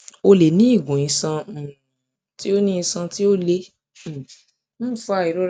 o le ni igun iṣan um ti o ni iṣan ti o le um fa irora